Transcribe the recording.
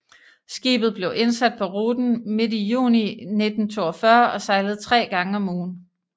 Skibet blev indsat på ruten midt i juni 1942 og sejlede tre gange om ugen